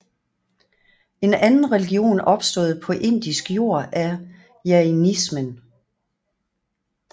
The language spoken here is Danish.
En anden religion opstået på indisk jord er jainismen